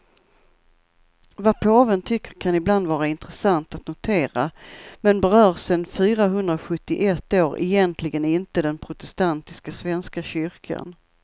Vad påven tycker kan ibland vara intressant att notera, men berör sen fyrahundrasjuttioett år egentligen inte den protestantiska svenska kyrkan.